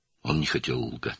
O, yalan danışmaq istəmirdi.